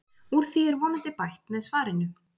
Úr því er vonandi bætt með svarinu.